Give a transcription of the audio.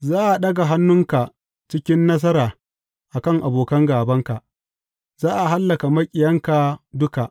Za a ɗaga hannunka cikin nasara a kan abokan gābanka, za a hallaka maƙiyanka duka.